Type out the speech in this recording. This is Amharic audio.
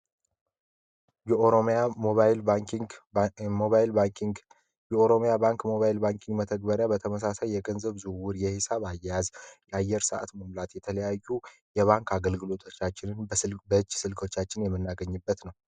የኦሮሚያ ባንክ ሞባይል ባንኪንግ መተግበሪያ በተመሳሳይ የገንዘብ ዙውር የሄሳብ አያዝ የአየር ሰዓት መምላት የተለያዩ የባንክ አገልግሎቶቻችንን በእች ስልኮቻችን የመናገኝበት ነው፡